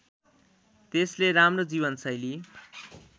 त्यसले राम्रो जीवनशैली